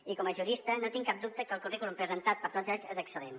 i com a jurista no tinc cap dubte que el currículum presentat per tots ells és excel·lent